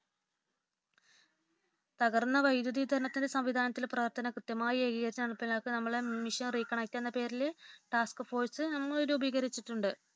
തകർന്ന വൈദ്യുത വിതരണ സംവിധാനത്തിൽ പ്രവർത്തനം കൃത്യമായി ഏകീകരിച്ചു നടപ്പിലാക്കാൻ നമ്മുടെ മിഷൻ റീകണക്ടു എന്ന പേരിൽ ടാസ്ക് ഫോഴ്‌സ് നമ്മൾ രൂപീകരിച്ചിട്ടുണ്ട്